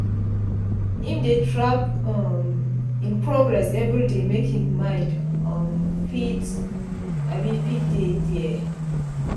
im dey track um im progress everyday make im mind um fit um fit dey dere